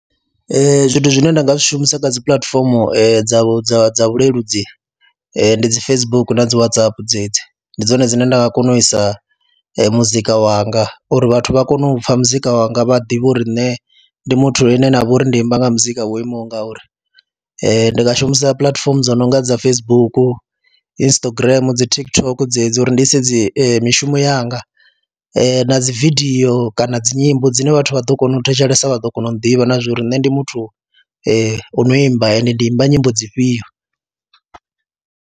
Ee, zwithu zwine nda nga zwi shumisa kha dzi puḽatifomo dza dza dza vhuleludzi ndi dzi Facebook na dzi Whatsapp dzedzi, ndi dzone dzine nda nga kona u isa muzika wanga uri vhathu vha kone u pfha muzika wanga, vha ḓivhe uri nṋe ndi muthu ane nda vha uri ndi imba nga muzika wo imaho nga uri. ndi nga shumisa puḽatifomo dzo no nga dza Facebook, Instagram dzi TikTok dzedzi uri ndi ise dzi mishumo yanga na dzi vidio kana dzi nyimbo dzine vhathu vha ḓo kona u thetshelesa, vha ḓo kona u ḓivha na zwo ri nṋe ndi muthu o no imba ende ndi imba nyimbo dzi fhio.